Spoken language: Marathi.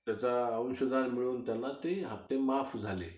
त्यांचा अंशधर मिळून त्यांना ते हफ्ते माफ झाले.